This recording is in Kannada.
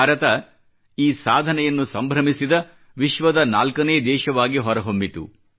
ಭಾರತ ಈ ಸಾಧನೆಯನ್ನು ಸಂಭ್ರಮಿಸಿದ ವಿಶ್ವದ ನಾಲ್ಕನೇ ದೇಶವಾಗಿ ಹೊರಹೊಮ್ಮಿತು